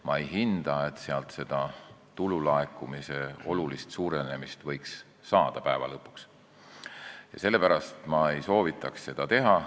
Ma ei arva, et lõpuks võiks tulu laekumine oluliselt suureneda, ja sellepärast ma ei soovitaks seda teha.